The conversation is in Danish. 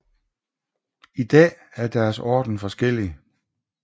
I dag er deres orden forskellig